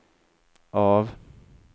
av